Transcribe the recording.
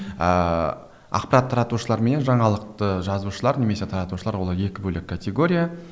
ыыы ақпарат таратушылар мен жаңалықты жазушылар немесе таратушылар олар екі бөлек категория